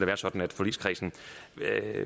være sådan at forligskredsen